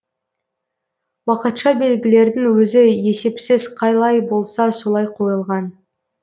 уақытша белгілердің өзі есепсіз қалай болса солай қойылған